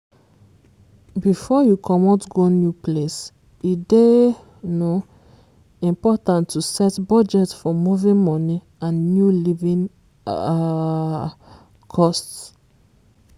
before you comot go new place e dey um important to set budget for moving money and new living um costs.